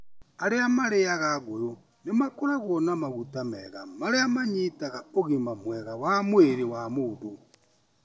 Arĩa marĩĩaga ngũyũ nĩ makoragwo na maguta mega marĩa manyitaga ũgima mwega wa mwĩrĩ wa mũndũ.